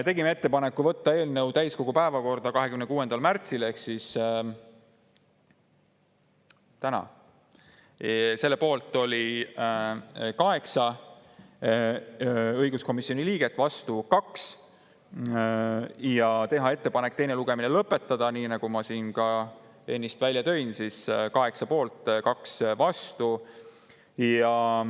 Tegime ettepaneku võtta eelnõu täiskogu päevakorda 26. märtsil ehk täna, selle poolt oli 8 õiguskomisjoni liiget, vastu 2, ja teha ettepanek teine lugemine lõpetada, nii nagu ma ka ennist välja tõin, selle poolt oli 8 ja 2 olid vastu.